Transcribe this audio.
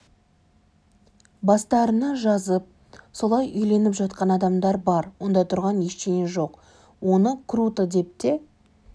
бастарына жазып солай үйленіп жатқан адамдар бар онда тұрған ештеңе жоқ оны круто деп те